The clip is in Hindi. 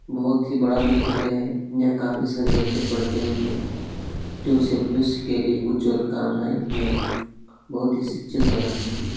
बहुत ही बड़ा विद्यालय है यहां काफी सारे बच्चे पढ़ते होंगे जो उस के भविष्य के लिए उज्वल कामनाएं मैं बहुत ही शिक्षित बनाते होंगे।